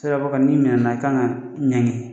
Siraba kan n'i minɛna i kan ka ɲangi